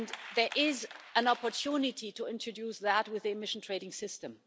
There is an opportunity to introduce that with an emission trading system.